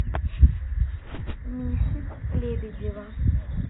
миши лебедева